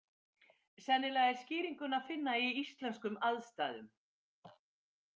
Sennilega er skýringuna að finna í íslenskum aðstæðum.